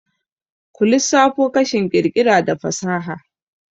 ku lissafo kashin ƙirƙira da fasaha?